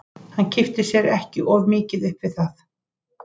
Hann kippti sér ekki of mikið upp við það.